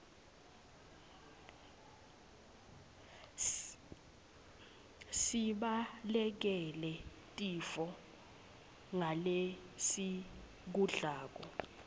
sibalekele tifo ngalesikudlako